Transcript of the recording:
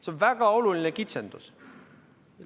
See on väga oluline kitsendus.